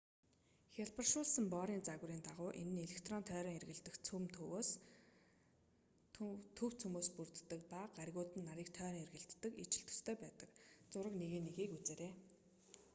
хялбаршуулсан борын загварын дагуу энэ нь электрон тойрон эргэлдэх төв цөмөөс бүрддэг ба гаригууд нарыг тойрон эргэлддэгтэй ижил төстэй байдаг зураг 1.1-ийг үзээрэй